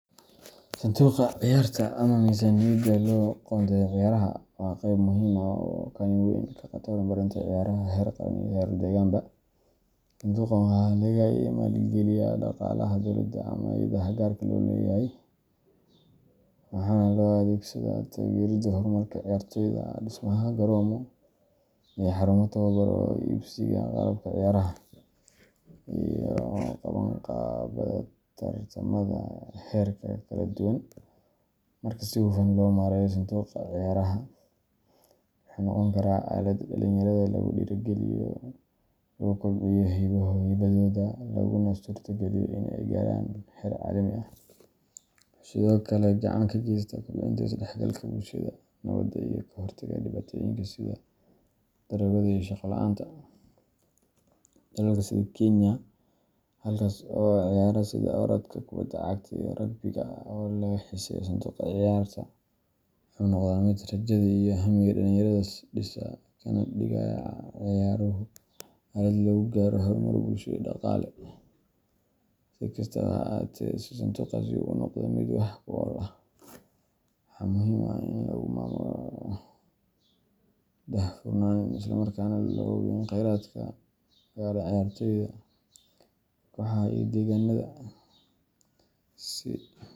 Sanduuqa ciyaarta ama miisaaniyadda loo qoondeeyo ciyaaraha waa qayb muhiim ah oo kaalin weyn ka qaadata horumarinta ciyaaraha heer qaran iyo heer deegaanba. Sanduuqan waxaa laga maalgeliyo dhaqaalaha dowladda ama hay’adaha gaarka loo leeyahay, waxaana loo adeegsadaa taageeridda horumarka ciyaartooyda, dhismaha garoomo iyo xarumo tababar, soo iibsiga qalabka ciyaaraha, iyo qabanqaabada tartamada heerarka kala duwan. Marka si hufan loo maareeyo sanduuqa ciyaaraha, wuxuu noqon karaa aalad dhalinyarada lagu dhiirrigeliyo, lagu kobciyo hibadooda, laguna suurtageliyo in ay gaaraan heer caalami ah. Wuxuu sidoo kale gacan ka geystaa kobcinta isdhexgalka bulshada, nabadda, iyo ka hortagga dhibaatooyinka sida daroogada iyo shaqo la’aanta. Dalalka sida Kenya, halkaas oo ciyaaraha sida orodka, kubadda cagta, iyo rugby-ga aad looga xiiseeyo, sanduuqa ciyaarta wuxuu noqdaa mid rajada iyo hamiga dhalinyarada dhisa, kana dhigaya ciyaaruhu aalad lagu gaaro horumar bulsho iyo dhaqaale. Si kastaba ha ahaatee, si sanduuqaasi u noqdo mid wax ku ool ah, waxaa muhiim ah in lagu maamulo si daahfuran, isla markaana loo hubiyo in kheyraadka gaara ciyaartooyda, kooxaha, iyo deegaannada si.